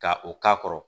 Ka o k'a kɔrɔ